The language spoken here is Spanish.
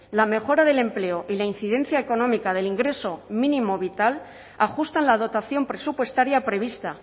la mejora del empleo y la incidencia económica del ingreso mínimo vital ajustan la dotación presupuestaria prevista